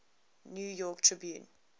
new york tribune